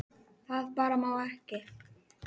Það bara má ekki.